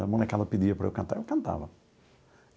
A molecada pedia para eu cantar e eu cantava.